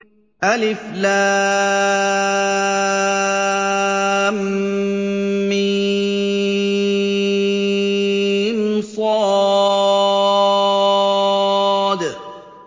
المص